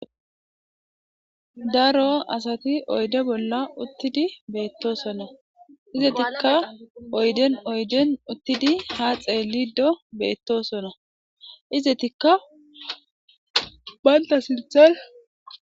Daro asati oyde bolla uttidi beetosona; izetikka oyden oyden uttidi haa xeelido beetosona; izetikka banta sinththan...